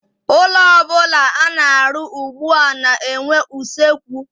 Ụlọ ọbụla ana-arụ ugbua na-enwe usekwu.